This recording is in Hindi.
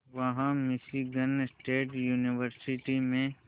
वहां मिशीगन स्टेट यूनिवर्सिटी में